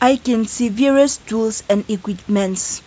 we can see various tools and equipments.